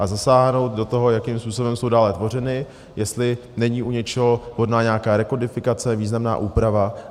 A zasáhnout do toho, jakým způsobem jsou dále tvořeny, jestli není u něčeho vhodná nějaká rekodifikace, významná úprava.